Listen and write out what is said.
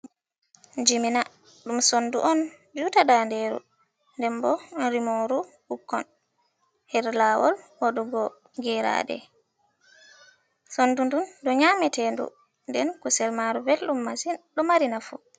Jimina ɗum sondu on juta ndanderu dembo rimoru ɓukkon her lawol waɗugo geraɗe. Sondu duu du nyametedu den kusel maru belɗum masi ɗo mari nafo.